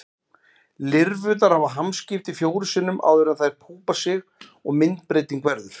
Lirfurnar hafa hamskipti fjórum sinnum áður en þær púpa sig og myndbreyting verður.